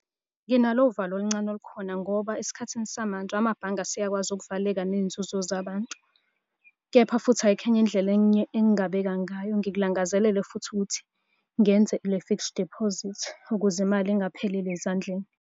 Nginalo uvalo oluncane olukhona ngoba esikhathini samanje amabhange aseyakwazi ukuvaleka ney'nzuzo zabantu, kepha futhi ayikho enye indlela enye engingabeka ngayo. Ngikulangazelele futhi ukuthi ngenze le fixed deposit ukuze imali ingapheleli ezandleni.